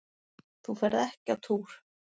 Þú ferð ekki á túr!